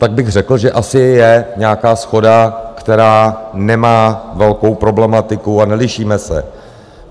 Tak bych řekl, že asi je nějaká shoda, která nemá velkou problematiku, a nelišíme se.